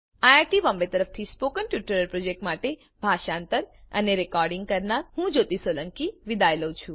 iit Bombay તરફથી spoken tutorial project માટે ભાષાંતર કરનાર હું જ્યોતી સોલંકી વિદાય લઉં છું